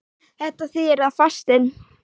Þetta þýðir að fastinn